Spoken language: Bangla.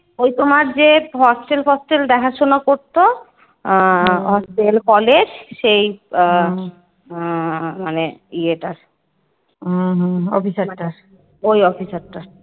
এই তোমার যে Hostel ফস্টাল দেখাশোনা করতো Hostel college সেই মানে ইয়েটার ওই Officer টার।